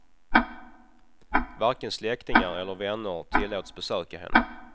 Varken släktingar eller vänner tillåts besöka henne.